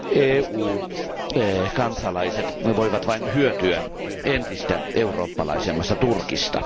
EU kansalaiset voivat vain hyötyä entistä eurooppalaisemmasta Turkista.